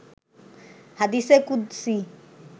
হাদিসে কুদসি